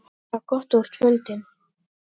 Það er gott að þú ert fundinn.